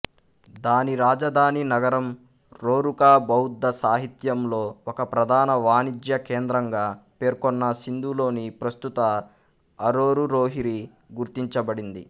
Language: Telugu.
దాని రాజధాని నగరం రోరుకా బౌద్ధ సాహిత్యంలో ఒక ప్రధాన వాణిజ్య కేంద్రంగా పేర్కొన్న సింధులోని ప్రస్తుత అరోరురోహ్రీ గుర్తించబడింది